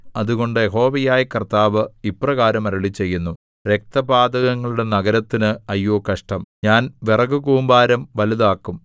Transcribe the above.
അതുകൊണ്ട് യഹോവയായ കർത്താവ് ഇപ്രകാരം അരുളിച്ചെയ്യുന്നു രക്തപാതകങ്ങളുടെ നഗരത്തിന് അയ്യോ കഷ്ടം ഞാൻ വിറകുകൂമ്പാരം വലുതാക്കും